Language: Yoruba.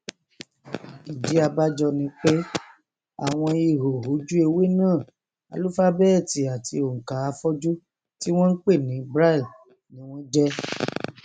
ìdí abájọ ni pé àwọn ihò ojúewé náà álúfábẹẹtì àti ònkà afọjú tí wọn npè ní braille ni wọn jẹ